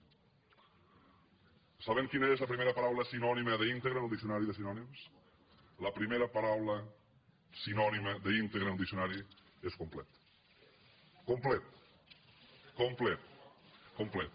saben quina és la primera paraula sinònima d’ íntegre en el diccionari de sinònims la primera paraula sinònima d’ íntegre en el diccionari és complet complet complet